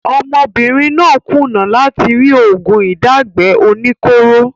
Ọmọbìnrin náà kùnà láti rí oògùn ìdágbẹ́ oníkóro